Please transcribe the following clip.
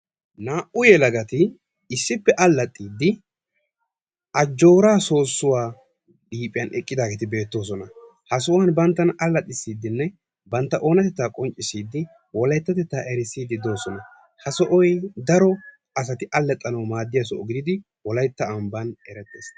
naa"u yelaagati issippe allaaxxiidi ajjooraa soossuwaa liiphiyaan eeqqidaageti beetoosona. ha sohuwaan banttana allaxisiidinne bantta oonnatettaa qoncciisidi wolaytatettaa erisiiddi de'oosona. ha soohoy daro asaay allaxaanawu maadiyaa sooho giididi wolaytta giddon erettees.